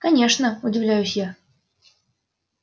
конечно удивляюсь я